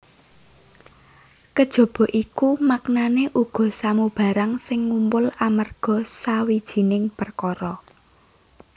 Kejaba iku maknané uga samubarang sing ngumpul amarga sawijining perkara